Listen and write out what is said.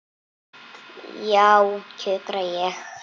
Já, kjökra ég.